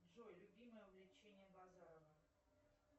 джой любимое увлечение базарова